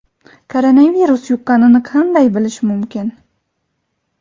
Koronavirus yuqqanini qanday bilish mumkin?.